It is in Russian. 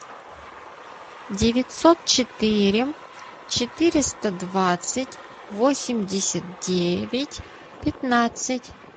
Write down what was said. девятьсот четыре четыреста двадцать восемьдесят девять пятнадцать